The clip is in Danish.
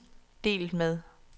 delt med